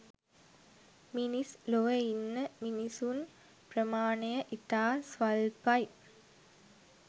මිනිස් ලොව ඉන්න මිනිසුන් ප්‍රමාණය ඉතා ස්වල්පයි.